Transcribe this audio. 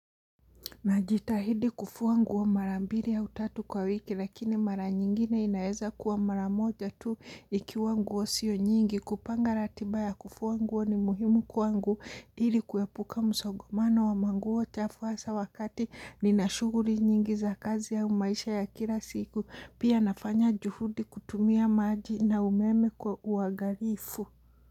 Najitahidi kufua nguo mara mbiri au tatu kwa wiki lakini mara nyingine inaeza kuwa mara moja tu ikiwa nguo sio nyingi kupanga ratiba ya kufua nguo ni muhimu kuangu ili kuepuka msogomano wa manguo chafu hasa wakati nina shuguri nyingi za kazi au maisha ya kila siku pia nafanya juhudi kutumia maji na umeme kwa uagalifu.